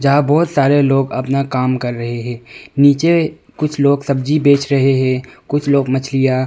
आप बहुत सारे लोग अपना काम कर रहे हैं नीचे कुछ लोग सब्जी बेच रहे है कुछ लोग मछलियां।